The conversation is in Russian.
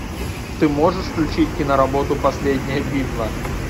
ты можешь включить киноработу последняя битва